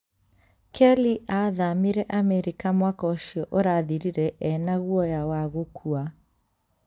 Kelly aathamĩire Amerika mwaka ũcio ũrathirire e na guoya wa gũkua